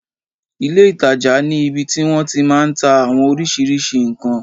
Ilé ìtajà ní ibi tí wọ́n ti máa n ta àwọn oriṣiríṣi ǹkan